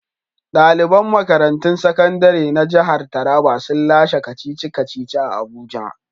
Daliban makarantun sakandire na jihar Taraba sun lashe kacici-kaci a abuja.